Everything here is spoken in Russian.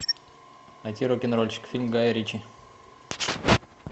найти рок н рольщик фильм гая ричи